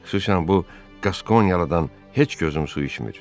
Xüsusan bu Qaskoniyalıdan heç gözüm su içmir.